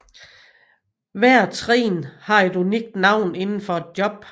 Hver trin har et unikt navn inden for et job